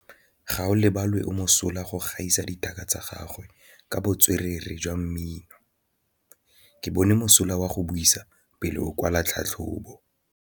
Gaolebalwe o mosola go gaisa dithaka tsa gagwe ka botswerere jwa mmino. Ke bone mosola wa go buisa pele o kwala tlhatlhobô.